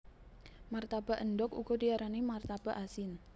Martabak endhog uga diarani martabak asin